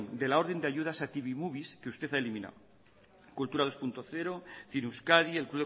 de la orden de ayudas a tv movies que usted ha eliminado kultura bi puntu zero cine euskadi el